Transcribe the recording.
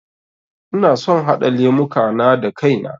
Ina son haɗa lemuka na da kai na